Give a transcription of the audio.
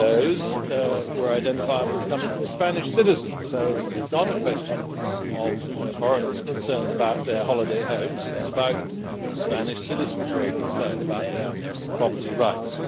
one of those were identified as coming from Spanish citizens, so it is not a question of foreigners concerned about their holiday homes here we have Spanish citizens concerned about their property rights.